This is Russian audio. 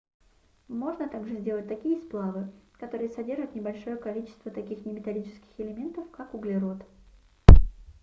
можно также сделать такие сплавы которые содержат небольшое количество таких неметаллических элементов как углерод